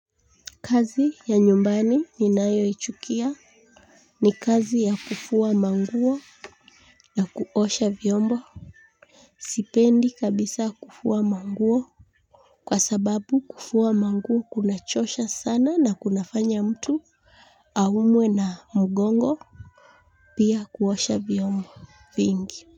Kazi ya nyumbani ninayoichukia. Ni kazi ya kufua manguo na kuosha vyombo. Sipendi kabisa kufua manguo kwa sababu kufua manguo kunachosha sana na kunafanya mtu aumwe na mgongo pia kuosha vyombo vingi.